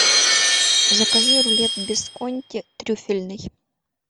закажи рулет бисконти трюфельный